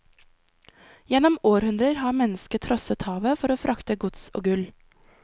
Gjennom århundrer har mennesket trosset havet for å frakte gods og gull.